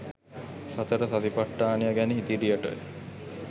සතර සතිපට්ඨානය ගැන ඉදිරියට